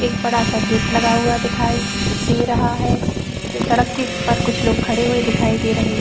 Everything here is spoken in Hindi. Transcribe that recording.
एक बड़ा सा गेट लगा हुआ दिखाई दे रहा है सड़क के पर कुछ लोग खड़े हुए दिखाई दे रहे --